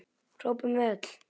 hrópum við öll.